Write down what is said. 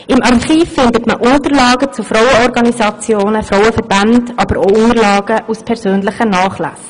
Im Archiv findet man Unterlagen zu Frauenorganisationen und Frauenverbänden, aber auch Unterlagen aus persönlichen Nachlässen.